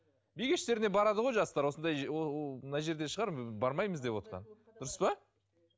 би кештеріне барады ғой жастар осындай мына жерде шығар бармаймыз девотқан дұрыс па